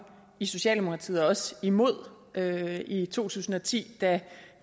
i socialdemokratiet også imod det i to tusind og ti da